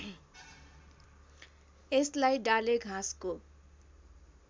यसलाई डालेघाँसको